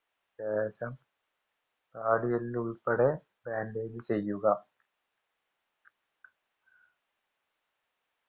ശേഷം താടിയെല്ലുൾപ്പെടെ bandage ചെയ്യുക